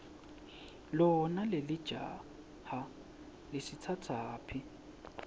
lona lelijaha lisitsatsaphi